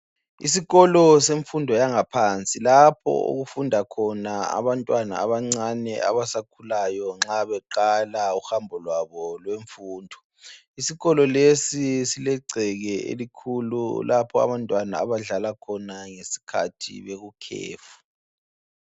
Isikolo semfundo yangaphansi lapho okufunda khona abantwana abancane abasakhulayo nxa beqala uhambo lwabo lwemfundo isikolo lesi silegceke elikhulu lapho abantwana abadlala khona ngesikhathi bekukhefu